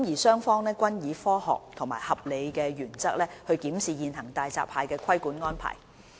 雙方均以科學及合理的原則檢視現行大閘蟹的規管安排。